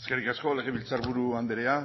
eskerrik asko legebiltzarburu andrea